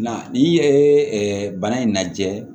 Na n'i ye bana in lajɛ